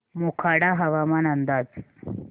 मोखाडा हवामान अंदाज